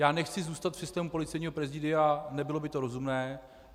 Já nechci zůstat v systému Policejního prezidia, nebylo by to rozumné.